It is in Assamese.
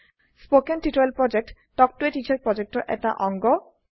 স্পোকেন টিউটোৰিয়েল প্ৰকল্প তাল্ক ত a টিচাৰ প্ৰকল্পৰ এটা অংগ